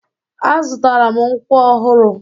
Azụtara m nkwọ ọhụrụ.